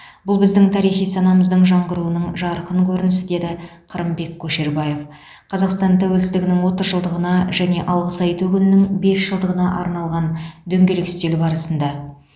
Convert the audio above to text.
бұл біздің тарихи санамыздың жаңғыруының жарқын көрінісі деді қырымбек көшербаев қазақстан тәуелсіздігінің отыз жылдығына және алғыс айту күнінің бес жылдығына арналған дөңгелек үстел барысында